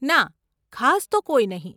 ના, ખાસ તો કોઈ નહીં.